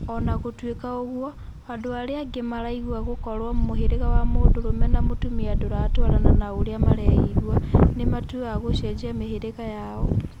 Ona gũtwika ũguo, andũ arĩa angĩ maraigua gũkorwo mũhĩrĩga wa mũndũrume na mũtumia ndũratwarana na ũrĩa mareyĩgua, ni matũaga gũcenjia mĩhĩrĩga yao.